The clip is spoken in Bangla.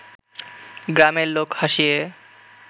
গ্রামের লোক হাসিয়ে